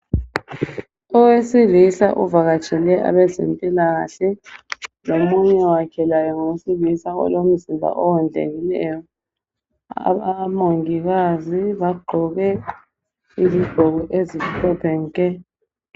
Owesilisa evakatshele abezemphilakahle. Lomunye wakhe ngowesilisa olomzimba olingeneyo. Omungikazi bagqoke izigqoko ezimhlophe nke.